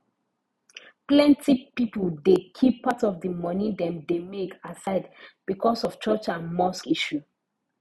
plenty pipo dey keep part of di moni dem dey make aside becos of church and mosque issue